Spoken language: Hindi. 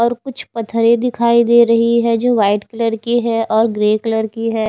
कुछ पत्थरे दिखाई दे रही है जो वाइट कलर की है और ग्रे कलर की है।